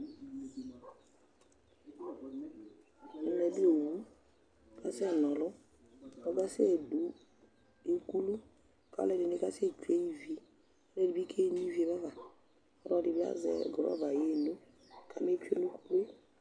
Ɛmɛ bɩ owu Asɛna ɔlʋ, ɔkasɛdʋ ukulu kʋ alʋɛdɩnɩ kasɛtsue ivi, alʋɛdɩnɩ bɩ keno ivi yɛ ba fa, ɔlɔdɩ bɩ azɛ rɔba yaɣa eno kametsue nʋ ukulu yɛ